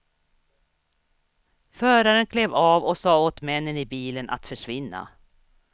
Föraren klev av och sa åt männen i bilen att försvinna.